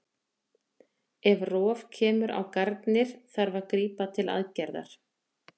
Ef rof kemur á garnir þarf að grípa til aðgerðar.